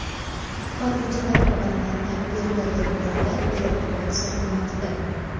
Qutqaruvchilar odamlarni vertolyotlarda evakuatsiya qilmoqda.